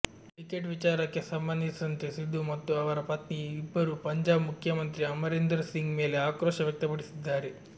ticket ವಿಚಾರಕ್ಕೆ ಸಂಬಂಧಿಸಿದಂತೆ ಸಿಧು ಮತ್ತು ಅವರ ಪತ್ನಿ ಇಬ್ಬರೂ ಪಂಜಾಬ್ ಮುಖ್ಯಮಂತ್ರಿ ಅಮರಿಂದರ್ ಸಿಂಗ್ ಮೇಲೆ ಆಕ್ರೋಶ ವ್ಯಕ್ತಪಡಿಸಿದ್ದಾರೆ